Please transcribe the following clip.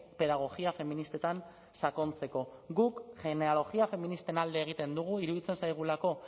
pedagogia feministetan sakontzeko guk genealogia feministen alde egiten dugu iruditzen zaigulako